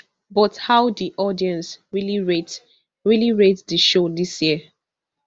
but how di audience really rate really rate di show dis year